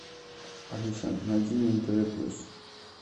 алиса найди мне нтв плюс